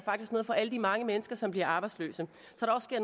faktisk noget for alle de mange mennesker som bliver arbejdsløse